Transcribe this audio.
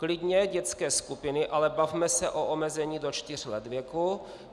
Klidně dětské skupiny, ale bavme se o omezení do čtyř let věku.